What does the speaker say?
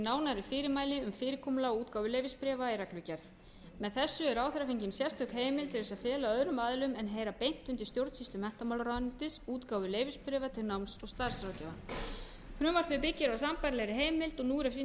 setji nánari fyrirmæli um fyrirkomulag og útgáfu leyfisbréfa í reglugerð með þessu er ráðherra fengin sérstök heimild til þess að fela öðrum aðilum en heyra beint undir stjórnsýslu menntamálaráðuneytis útgáfu leyfisbréfa til náms og starfsráðgjafa frumvarpið byggir á sambærilegri heimild og nú er að finna í